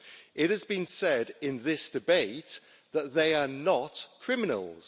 It has been said in this debate that they are not criminals.